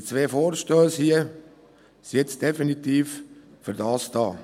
Die zwei Vorstösse hier sind definitiv dazu da.